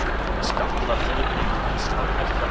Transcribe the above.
Skattar eru einnig að hækka